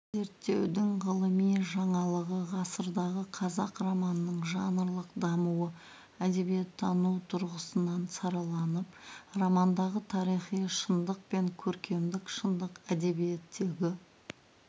зерттеудің ғылыми жаңалығы ғасырдағы қазақ романының жанрлық дамуы әдебиеттану тұрғысынан сараланып романдағы тарихи шындық пен көркемдік шындық әдебиеттегі